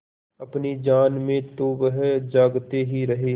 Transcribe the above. अपनी जान में तो वह जागते ही रहे